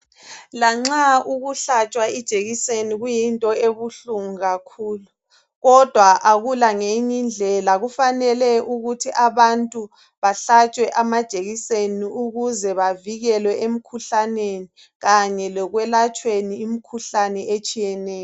Lanxa ukuhlatshwa ijekiseni kuyinto ebuhlungu kakhulu. Kodwa akula ngenyi indlela. Kufanele ukuthi abantu bahlatshwe amajekiseni, ukuze bavikelwe emkhuhlaneni, kanye lekwelatshweni imikhuhlane etshiyeneyo.